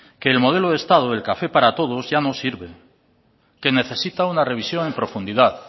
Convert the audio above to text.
que el modelo de estado del café para todos ya no sirve que necesita una revisión en profundidad